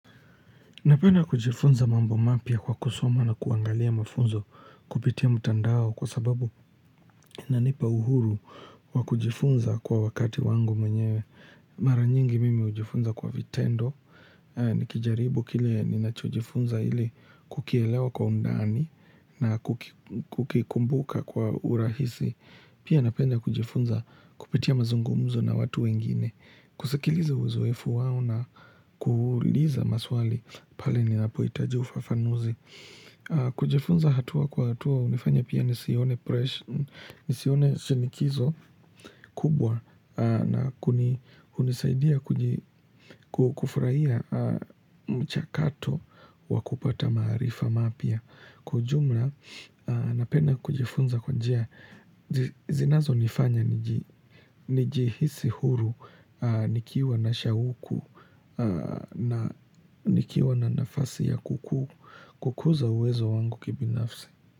Napenda kujifunza mambo mapya kwa kusoma na kuangalia mafunzo kupitia mtandao kwa sababu inanipa uhuru wakujifunza kwa wakati wangu mwenye mara nyingi mimi hujifunza kwa vitendo. Nikijaribu kile ninachojifunza ili kukielewa kwa undani na kukikumbuka kwa urahisi. Pia napenda kujifunza kupitia mazungumuzo na watu wengine, kusakiliza uzoefu wao na kuuliza maswali pale ninapohitaji ufafanuzi. Kujifunza hatua kwa hatua, hunifanya pia nisione presha, nisione shinikizo kubwa na hunisaidia kufurahia mchakato wakupata maarifa mapya. Kwa ujumla, napenda kujifunza kwa njia, zinazo nifanya nijihisi huru nikiwa na shauku na nikiwa na nafasi ya kukuza uwezo wangu kibinafsi.